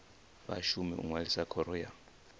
vhashumi u ṅwalisa khoro ya